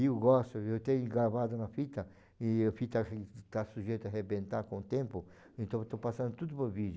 Eu gosto, eu tenho gravado na fita e a fita está sujeita a arrebentar com o tempo, então estou passando tudo por vídeo.